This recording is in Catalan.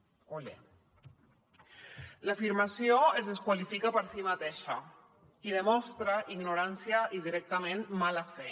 olé l’afirmació es desqualifica per si mateixa i demostra ignorància i directament mala fe